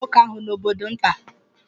A chụpụrụ nwoke ahụ n'obodo nta.